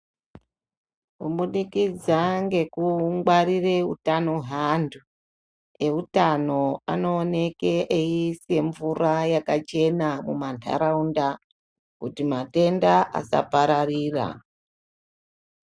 Kubudikidza ngekungwarira hutano hweandu eutano anooneke eyiise mvura yakachena mumandaraunda kuti matenda asapararira.